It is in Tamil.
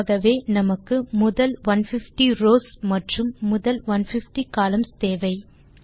ஆகவே நமக்கு முதல் 150 ரவ்ஸ் மற்றும் முதல் 150 கோலம்ன் கள் தேவை